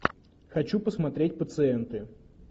хочу посмотреть пациенты